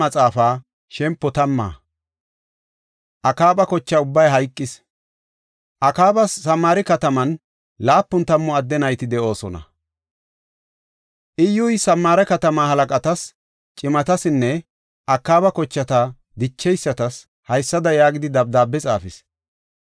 Akaabas Samaare kataman laapun tammu adde nayti de7oosona. Iyyuy Samaare katama halaqatas, cimatasinne Akaaba kochata dicheysatas haysada yaagidi dabdaabe xaafis.